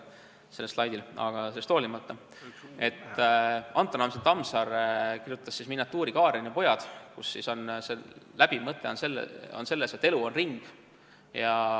A. H. Tammsaare kirjutas miniatuuri "Kaaren ja pojad", mille läbiv mõte on selles, et elu on ring.